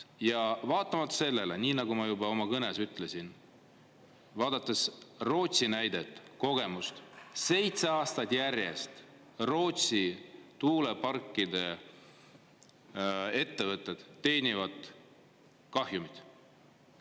Ja vaatamata sellele, nii nagu ma juba oma kõnes ütlesin, vaadates Rootsi näidet, kogemust, seitse aastat järjest Rootsi tuuleparkide ettevõtted teenivad kahjumit.